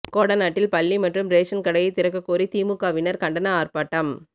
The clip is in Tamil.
கோடநாட்டில் பள்ளி மற்றும் ரேஷன் கடையை திறக்க கோரி திமுகவினர் கண்டன ஆர்ப்பாட்டம்